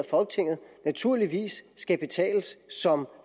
folketinget naturligvis skal betales som